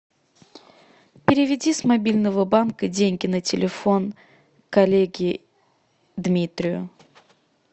переведи с мобильного банка деньги на телефон коллеге дмитрию